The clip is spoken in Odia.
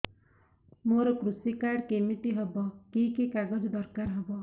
ମୋର କୃଷି କାର୍ଡ କିମିତି ହବ କି କି କାଗଜ ଦରକାର ହବ